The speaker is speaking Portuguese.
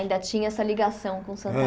Ainda tinha essa ligação com Santa